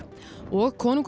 og konungur